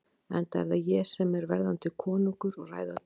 Enda er það ég sem er verðandi konungur og ræð öllu.